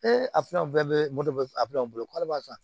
a bɛ bolo k'ale b'a san